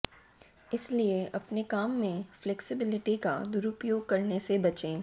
इसलिए अपने काम में फ्लेक्सिबिलिटी का दुरुपयोग करने से बचें